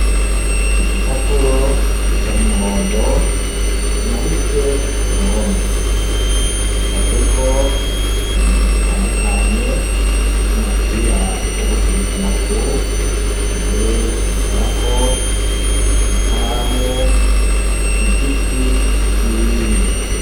Igi papuro gisana umuhondo kimanitse ku ruhome gicavyeko ibintu bitandukanye nk'umupira wo gukinisha amaguru intebe yo kwicarako i karamu igiti n'ibindi.